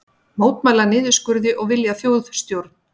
Mótmæla niðurskurði og vilja þjóðstjórn